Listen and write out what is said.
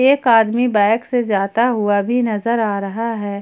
एक आदमी बाइक से जाता हुआ भी नजर आ रहा है।